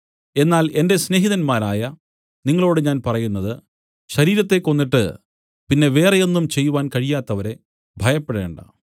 എന്നാൽ എന്റെ സ്നേഹിതന്മാരായ നിങ്ങളോടു ഞാൻ പറയുന്നത് ശരീരത്തെ കൊന്നിട്ട് പിന്നെ വേറെ ഒന്നും ചെയ്‌വാൻ കഴിയാത്തവരെ ഭയപ്പെടേണ്ടാ